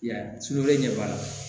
I y'a ye sugunɛ ɲɛ banna